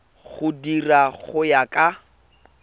di dira go ya ka